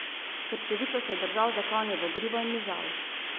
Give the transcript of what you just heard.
Krčevito se je držal za konjevo grivo in mižal.